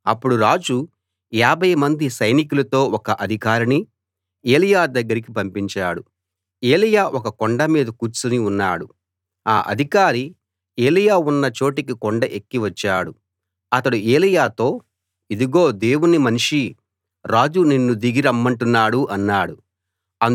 అప్పుడు రాజు యాభై మంది సైనికులతో ఒక అధికారిని ఎలీయా దగ్గరికి పంపించాడు ఎలీయా ఒక కొండ మీద కూర్చుని ఉన్నాడు ఆ అధికారి ఎలీయా ఉన్న చోటికి కొండ ఎక్కి వచ్చాడు అతడు ఎలీయాతో ఇదిగో దేవుని మనిషీ రాజు నిన్ను దిగి రమ్మంటున్నాడు అన్నాడు